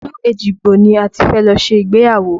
Ilu Ejigbo ni a ti fẹ́ lọ ṣe ìgbéyàwó